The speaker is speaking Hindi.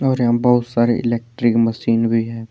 और यहां बहुत सारे इलेक्ट्रिक मशीन भी है।